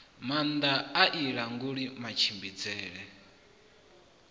maanda a i languli matshimbidzele